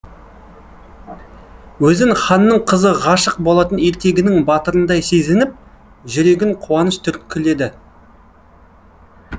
өзін ханның қызы ғашық болатын ертегінің батырындай сезініп жүрегін қуаныш түрткіледі